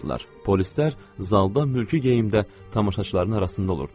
Polislər zalda mülki geyimdə tamaşaçıların arasında olurdular.